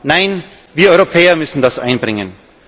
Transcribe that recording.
USA? Nein, wir Europäer müssen das einbringen.